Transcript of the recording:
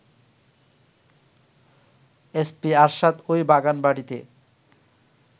SP Arshad ওই বাগানবাড়িতে